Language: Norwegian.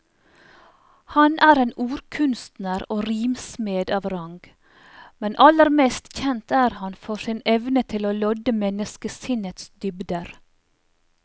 Han er en ordkunstner og rimsmed av rang, men aller mest kjent er han for sin evne til å lodde menneskesinnets dybder.